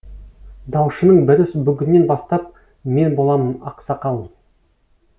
даушының бірі бүгіннен бастап мен боламын ақсақал